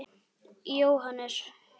Jóhannes: Hjálpar þetta?